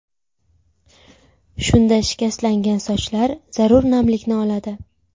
Shunda shikastlangan sochlar zarur namlikni oladi.